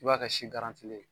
I b'a kɛ si ye